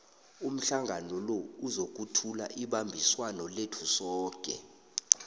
umhlangano lo uzokuthula ibambiswano lethu soke